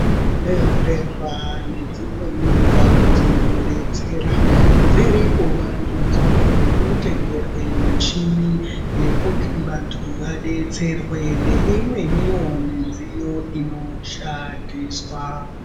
Zvibhehlera nedzimweni ndau dzinodetsera dziri kuvandudzwa ngekutengerwe michini yekuti vantu vadetserwe ngeimweniwo midziyo inoshandiswa.